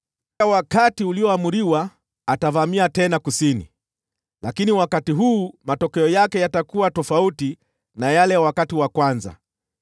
“Wakati ulioamriwa, atavamia tena Kusini, lakini wakati huu matokeo yake yatakuwa tofauti na yale ya wakati wa kwanza.